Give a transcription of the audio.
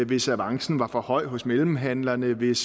hvis avancen var for høj hos mellemhandlerne hvis